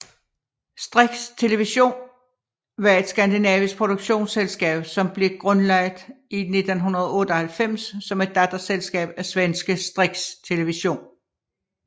Strix Television var et Skandinavisk produktionsselskab som blev grundlagt i 1998 som et datterselskab af svenske Strix Television